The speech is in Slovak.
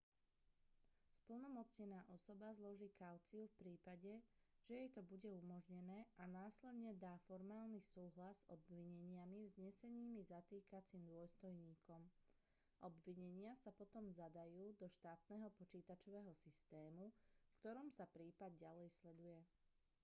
splnomocnená osoba zloží kauciu v prípade že jej to bude umožnené a následne dá formálny súhlas s obvineniami vznesenými zatýkacím dôstojníkom obvinenia sa potom zadajú do štátneho počítačového systému v ktorom sa prípad ďalej sleduje